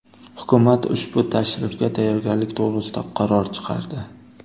Hukumat ushbu tashrifga tayyorgarlik to‘g‘risida qaror chiqardi.